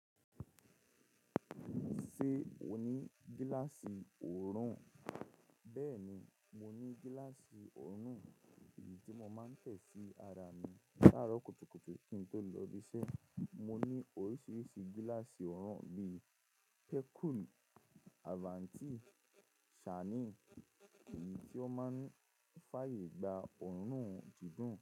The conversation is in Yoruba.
Ṣé o ní gíláàsì oòrùn? Bẹ́ẹ̀ni, mo ní gíláàsì oòrùn èyí tí mo máa ń tẹ̀ sí ara mi láàró kùtùkùtù kí n tó lọ ibiṣẹ́. Mo ní oríṣiríṣi gíláàsì oòrùn bí i Pẹ́kùl, Àbántì, Ṣání èyí tí ó máa ń fàyè gba oòrùn dídùn.